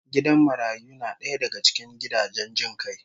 Gidan marayu na daya daga gidajen jin kai